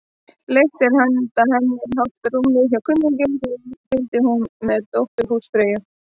Leigt var handa henni hálft rúm hjá kunningjum, því deildi hún með dóttur húsfreyju.